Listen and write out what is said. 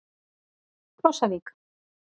Krossavík